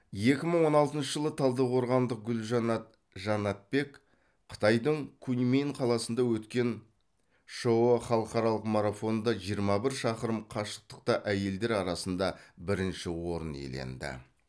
екі мың он алтыншы жылы талдықорғандық гүлжанат жанатбек қытайдың куньмин қаласында өткен шыұ халықаралық марафонында жиырма бір шақырым қашықтықта әйелдер арасында бірінші орын иеленді